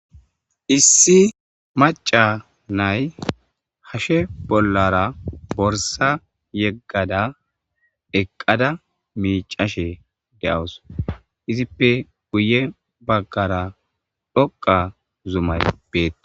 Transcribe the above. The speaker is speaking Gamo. issi maca nay hashe bollara borsa yeggada eqqada miicashe de7os izippe guye baggara dhoqa zumay beee